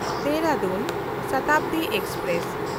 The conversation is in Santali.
ᱫᱮᱦᱨᱟᱫᱩᱱ ᱥᱚᱛᱟᱵᱽᱫᱤ ᱮᱠᱥᱯᱨᱮᱥ